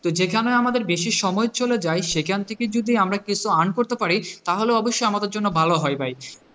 তো যেখানে আমাদের বেশি সময় চলে যায়, সেখান থেকে যদি আমরা কিছু earn করতে পারি তাহলে অবস্যই আমাদের জন্য ভালো হয় ভাই,